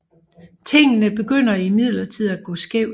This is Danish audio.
Tingene begynder imidlertid at gå skævt